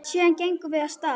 Síðan gengum við af stað.